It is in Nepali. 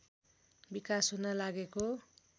विकास हुन लागेको